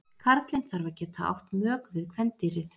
Karlinn þarf að geta átt mök við kvendýrið.